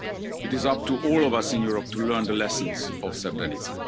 It is up to all of us in Europe to learn the lessons of Srebrenica.